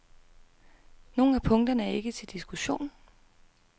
Nogle af punkterne er ikke til diskussion.